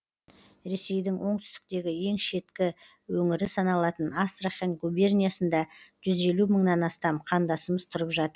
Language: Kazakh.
ресейдің оңтүстіктегі ең шеткі өңірі саналатын астрахань губерниясында жүз елу мыңнан астам қандасымыз тұрып жатыр